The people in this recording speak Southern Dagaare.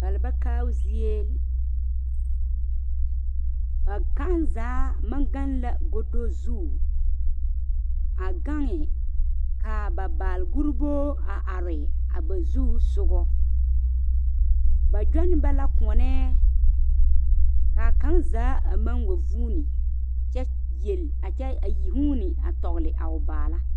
Balba kaao zie ba kaŋ zaa maŋ gaŋbla godo zu a gaŋe ka ba balguribo a are a ba zusoga ba gyɔne ba la koɔnee ka kaŋ zaa a maŋ wa vuuni kyɛ yeli a kyɛ huuni a tɔgle a o baala.